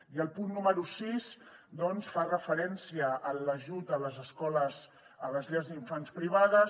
i el punt número sis doncs fa referència a l’ajut a les llars d’infants privades